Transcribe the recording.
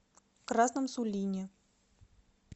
красном сулине